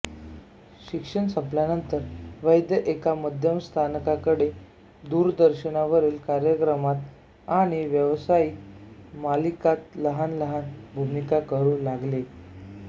शिक्षण संपल्यानंतर वैद्य एका मध्यस्थाकडे दूरदर्शनवरील कार्यक्रमात आणि व्यावसायिक मालिकात लहान लहान भूमिका करू लागले